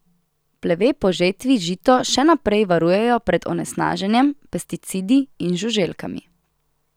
Pleve po žetvi žito še naprej varujejo pred onesnaženjem, pesticidi in žuželkami.